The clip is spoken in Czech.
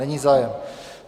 Není zájem.